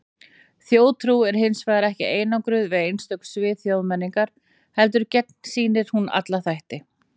Þjóðtrú er hins vegar ekki einangruð við einstök svið þjóðmenningar, heldur gegnsýrir hún alla þætti.